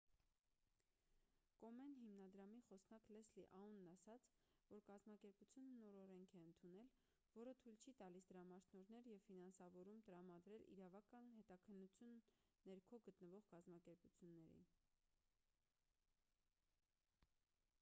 կոմեն հիմնադրամի խոսնակ լեսլի աունն ասաց որ կազմակերպությունը նոր օրենք է ընդունել որը թույլ չի տալիս դրամաշնորհներ և ֆինանսավորում տրամադրել իրավական հետաքննության ներքո գտնվող կազմակերպություններին